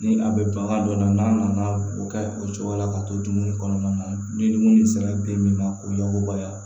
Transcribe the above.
Ni a bɛ bagan dɔ la n'a nana o kɛ o cogoya la ka to dumuni kɔnɔna na ni dumuni sera den min ma ko yakubaya